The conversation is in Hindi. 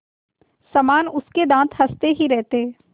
समान उसके दाँत हँसते ही रहते